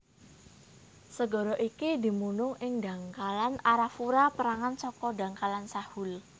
Segara iki dumunung ing dhangkalan Arafura pérangan saka dhangkalan Sahul